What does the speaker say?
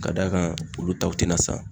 Ka d'a kan olu taw tena san